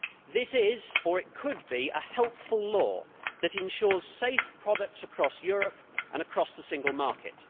This is, or could be, a helpful law that ensures safe products across Europe and across the single market.